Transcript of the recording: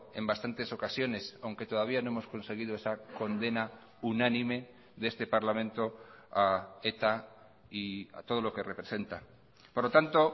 en bastantes ocasiones aunque todavía no hemos conseguido esa condena unánime de este parlamento a eta y a todo lo que representa por lo tanto